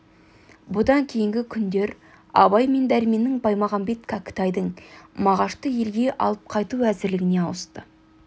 бұдан кейінгі күндер абай мен дәрменнің баймағамбет кәкітайдың мағашты елге алып қайту әзірлігіне ауысты